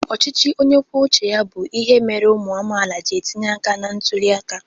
Ọchịchị onye kwuo uche ya bụ ihe mere ụmụ amaala ji etinye aka na ntuli aka.